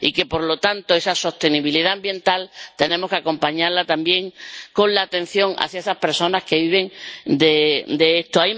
Y, por lo tanto, esa sostenibilidad ambiental tenemos que acompañarla también con la atención hacia esas personas que viven de esto.